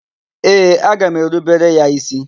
Ee, aga m erubere ya ísí.